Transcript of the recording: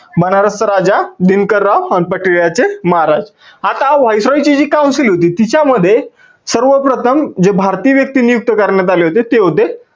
बनारस चा राजा दिनकर राव आणि पटियाला चे महाराज. आता viceroy ची जी council होती तिच्या मध्ये सर्व प्रथम जे भारतीय व्यक्ती नियुक्त करण्यात आले होते ते होते